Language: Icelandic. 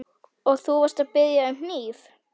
Og þú varst að biðja um hníf?